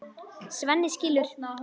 Svenni skilur.